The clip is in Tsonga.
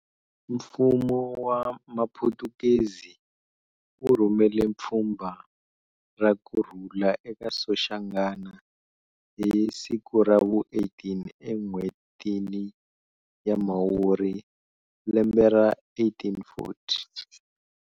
Mfumo wa maphutukezi, wu rhumele pfhumba rakurhula eka Soshangana hi siku ra vu 18 e n'whetini ya mhawurihi lembe ra 1840.